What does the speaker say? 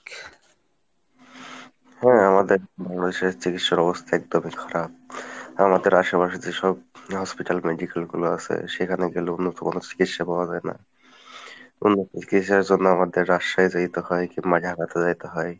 হ্যাঁ আমাদের বাংলাদেশের চিকিৎসার অবস্থা একদম ই খারাপ আমাদের আসে পাশে যেসব hospital medical গুলা আছে সেখানে গেলেও উন্নত মানের চিকিৎসা পাওয়া যায় না উন্নত চিকিৎসার জন্য আমাদের Rajshahi যাইতে হয় কিংবা Dhaka যাইতে হয়।